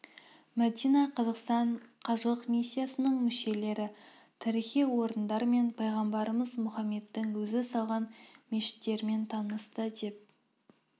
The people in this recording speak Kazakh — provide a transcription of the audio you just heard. мәдина қазақстан қажылық миссиясының мүшелері тарихи орындар мен пайғамбарымыз мұхаммедтің өзі салған мешіттерімен танысты деп